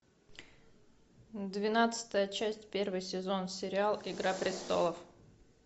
двенадцатая часть первый сезон сериал игра престолов